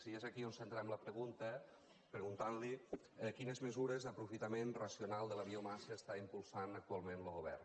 i és aquí on centrem la pregunta preguntant li quines mesures d’aprofitament racional de la biomassa està impulsant actualment lo govern